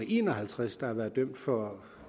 en og halvtreds der har været dømt for